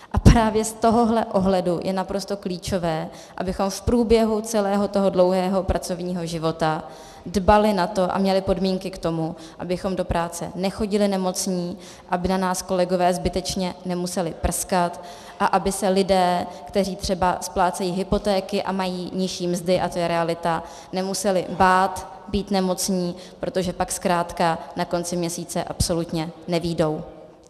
A právě z tohohle pohledu je naprosto klíčové, abychom v průběhu celého toho dlouhého pracovního života dbali na to a měli podmínky k tomu, abychom do práce nechodili nemocní, aby na nás kolegové zbytečně nemuseli prskat a aby se lidé, kteří třeba splácejí hypotéky a mají nižší mzdy, a to je realita, nemuseli bát být nemocní, protože pak zkrátka na konci měsíce absolutně nevyjdou.